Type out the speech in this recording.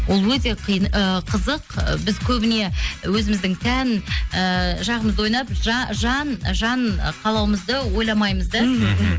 ол өте ыыы қызық ы біз көбіне өзіміздің тән ыыы жағымызды ойлап жан қалауымызды ойламаймыз да мхм